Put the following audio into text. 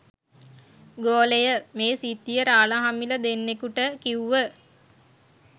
ගෝලය මේ සිද්ධිය රාලහාමිල දෙන්නෙකුට කිව්ව.